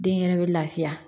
Den yɛrɛ bɛ lafiya